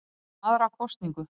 Rætt um aðra kosningu